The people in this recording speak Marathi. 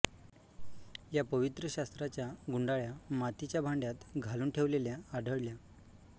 या पवित्र शास्त्राच्या गुंडाळ्या मातीच्या भांड्यात घालून ठेवलेल्या आढळल्या